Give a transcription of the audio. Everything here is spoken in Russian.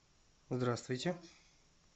здравствуйте